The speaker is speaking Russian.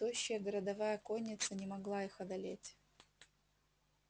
тощая городовая конница не могла их одолеть